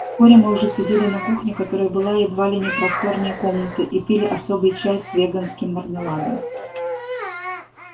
вскоре мы уже сидели на кухне которая была едва ли не просторнее комнаты и пили особый чай с веганским мармеладом